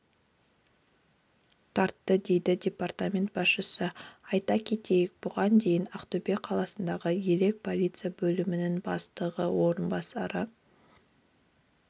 тартты деді департамент басшысы айта кетейік бұған дейін ақтөбе қаласындағы елек полиция бөлімінің бастығы орынбасарлары